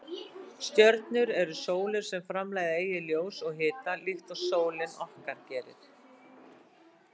Stjörnur eru sólir sem framleiða eigið ljós og hita líkt og sólin okkar gerir.